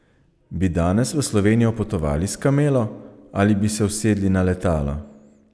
Bi danes v Slovenijo potovali s kamelo, ali bi se usedli na letalo?